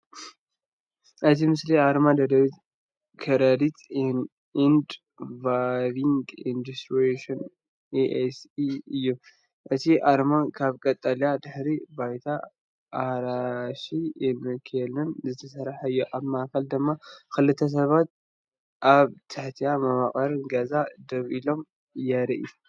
እቲ ምስሊ ኣርማ “ደደቢት ክረዲት ኤንድ ሳቪንግ ኢንስቲትዩሽን ኤስ.ሲ.” እዩ። እቲ ኣርማ ካብ ቀጠልያ ድሕረ ባይታን ኣራንሺ ዓንኬልን ዝተሰርሐ እዩ። ኣብ ማእኸል ድማ ክልተ ሰባት ኣብ ትሕቲ መዋቕር ገዛ ደው ኢሎም የርኢ።